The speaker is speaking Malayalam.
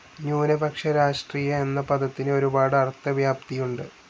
ന്യൂനപക്ഷ രാഷ്ട്രീയം എന്ന പദത്തിനു ഒരുപാട്‌ അർത്ഥവ്യാപ്തിയുണ്ട്.